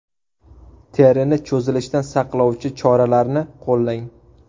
Terini cho‘zilishdan saqlovchi choralarni qo‘llang.